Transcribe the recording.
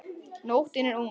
Nóttin er ung